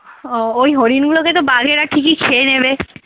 ও ওই হরিণ গুলোকে তো বাঘেরা ঠিকই খেয়ে নেবে।